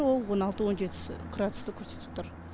ол он алты он жетісі градусты көрсетіп тұр